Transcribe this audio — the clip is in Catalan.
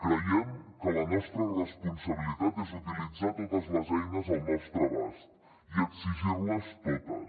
creiem que la nostra responsabilitat és utilitzar totes les eines al nostre abast i exigir les totes